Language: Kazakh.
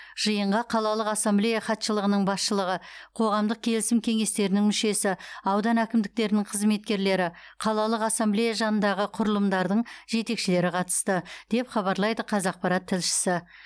жиынға қалалық ассамблея хатшылығының басшылығы қоғамдық келісім кеңестерінің мүшесі аудан әкімдіктерінің қызметкерлері қалалық ассамблея жанындағы құрылымдардың жетекшілері қатысты деп хабарлайды қазақпарат тілшісі